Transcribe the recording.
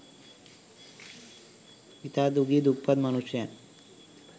ඉතා දුගී දුප්පත් මනුෂ්‍යයන්